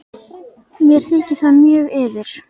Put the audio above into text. Mér þykir það mjög miður.